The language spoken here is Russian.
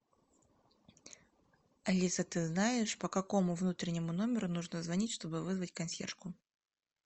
алиса ты знаешь по какому внутреннему номеру нужно звонить чтобы вызвать консьержку